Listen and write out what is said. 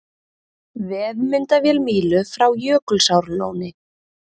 Vefmyndavél Mílu frá Jökulsárlóni